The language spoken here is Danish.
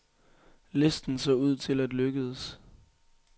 Listen så ud til at lykkedes.